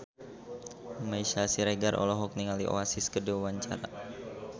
Meisya Siregar olohok ningali Oasis keur diwawancara